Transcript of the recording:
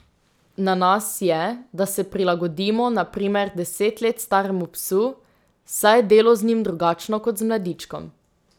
Na nas je, da se prilagodimo na primer deset let staremu psu, saj je delo z njim drugačno kot z mladičkom.